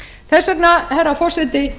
þess vegna herra forseti